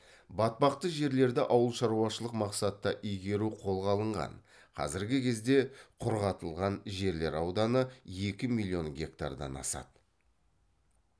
батпақты жерлерді ауыл шаруашылық мақсатта игеру қолға алынған қазіргі кезде құрғатылған жерлер ауданы екі миллион гектардан асады